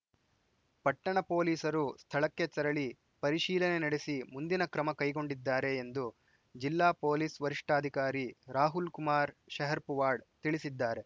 ಪಟ್ಟಣ ಪೊಲೀಸರು ಸ್ಥಳಕ್ಕೆ ತೆರಳಿ ಪರೀಶೀಲನೆ ನಡೆಸಿ ಮುಂದಿನ ಕ್ರಮ ಕೈಗೊಂಡಿದ್ದಾರೆ ಎಂದು ಜಿಲ್ಲಾ ಪೊಲೀಸ್‌ ವರಿಷ್ಠಾಧಿಕಾರಿ ರಾಹುಲ್‌ ಕುಮಾರ್‌ ಶೆಹಪುರವಾಡ್‌ ತಿಳಿಸಿದ್ದಾರೆ